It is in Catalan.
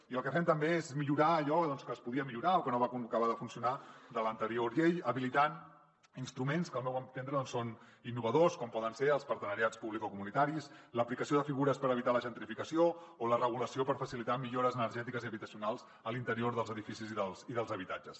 i el que fem també és millorar allò que es podia millorar o que no va acabar de funcionar de l’anterior llei habilitant instruments que al meu entendre són innovadors com poden ser els partenariats publicocomunitaris l’aplicació de figures per evitar la gentrificació o la regulació per facilitar millores energètiques i habitacionals a l’interior dels edificis i dels habitatges